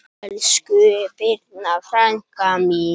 Elsku Birna frænka mín.